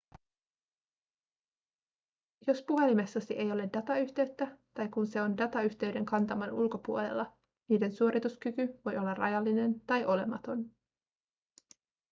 jos puhelimessasi ei ole datayhteyttä tai kun se on datayhteyden kantaman ulkopuolella niiden suorituskyky voi olla rajallinen tai olematon